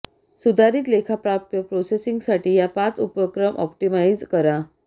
सुधारीत लेखा प्राप्य प्रोसेसिंगसाठी या पाच उपक्रम ऑप्टिमाइझ करा